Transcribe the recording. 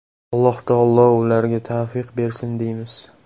Alloh taolo ularga tavfiq bersin deymiz”.